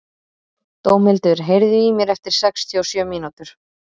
Dómhildur, heyrðu í mér eftir sextíu og sjö mínútur.